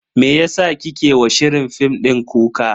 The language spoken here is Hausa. Meyasa kike wa shirin fim din kuka?